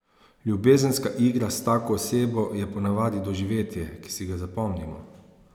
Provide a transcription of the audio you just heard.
Ljubezenska igra s tako osebo je po navadi doživetje, ki si ga zapomnimo.